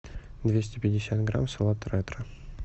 двести пятьдесят грамм салат ретро